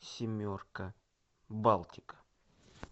семерка балтика